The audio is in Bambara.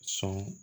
Sɔn